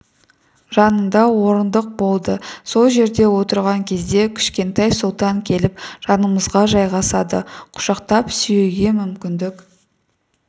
жанында орындық болды сол жерде отырған кезде кішкентай сұлтан келіп жанымызға жайғасады құшақтап сүюге мүмкіндік